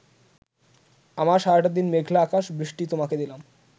আমার সারাটা দিন মেঘলা আকাশ বৃষ্টি তোমাকে দিলাম